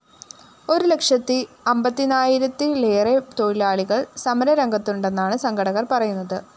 ഒരുലക്ഷത്തി അമ്പതിനായിരത്തിലേറെ തൊഴിലാളികള്‍ സമരരംഗത്തുണ്ടെന്നാണ് സംഘടകള്‍ പറയുന്നത്